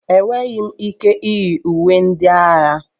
Enweghị m ike iyi uwe ndị agha.